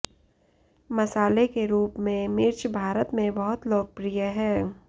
मसाले के रूप में मिर्च भारत में बहुत लोकप्रिय है